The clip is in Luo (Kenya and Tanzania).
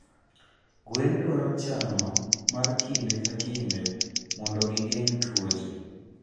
Gwen dwaro chano mar kinde ka kinde mondo gi geng tuoche.